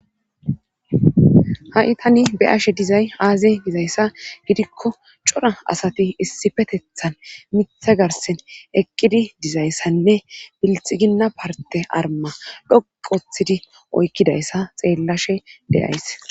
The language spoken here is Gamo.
Ha'i taani be'ashe dizay aaze gizayssa cora asati issippetheta miththa garssen eqqidi dizayssanne bilxiginna parte aruma xuuqu oothidi oyqidayssa xeelashe de'ayis.